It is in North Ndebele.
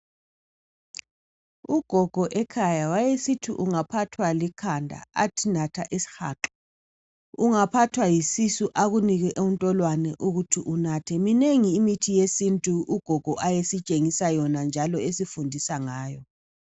Ugogo ekhaya wayesithi ungaphathwa likhanda athi natha isihaqa. Ungaphathwa yisisu akunike intolwane ukuthi unathe. Minengi imithi yesintu ugogo ayesitshengisa yona njalo esifundisa ngayo.